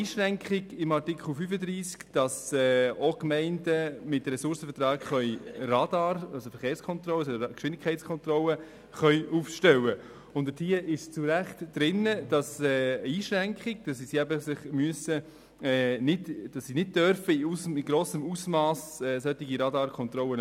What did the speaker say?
Gemäss Artikel 35 können auch Gemeinden mit Ressourcenverträgen Radarfallen für Geschwindigkeitskontrollen aufstellen, und dort besteht zu Recht die Einschränkung, dass sie das nicht in grossem Ausmass tun dürfen.